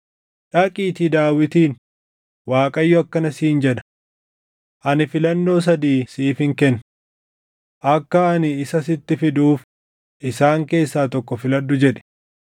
“Dhaqiitii Daawitiin, ‘ Waaqayyo akkana siin jedha: Ani filannoo sadii siifin kenna. Akka ani isa sitti fiduuf, isaan keessaa tokko filadhu’ jedhi.”